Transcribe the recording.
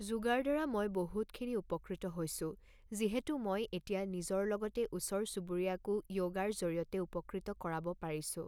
যোগাৰ দ্বাৰা মই বহুত খিনি উপকৃত হৈছোঁ যিহেতু মই এতিয়া নিজৰ লগতে ওচৰ-চুবুৰীয়াকো য়ৌগাৰ জৰিয়তে উপকৃত কৰাব পাৰিছোঁ